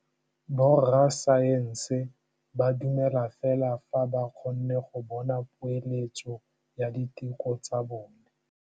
Borra saense ba dumela fela fa ba kgonne go bona poeletsô ya diteko tsa bone.